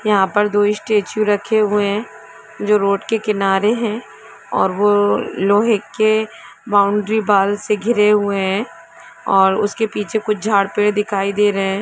यहा पर दो स्टेचू रखे हुए जो की रोड के किनारे हैऔर वो लोहैं के बाउंड्री वॉल से घिरे हुए है और उसके पीछे कुछ झाड़ पेड़ दिखाई दे रहे है।